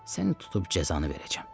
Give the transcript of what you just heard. səni tutub cəzanı verəcəm.